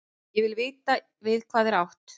Ég vil vita við hvað er átt.